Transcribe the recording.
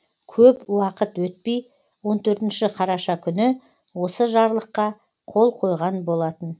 көп уақыт өтпей он төртінші қараша күні осы жарлыққа қол қойған болатын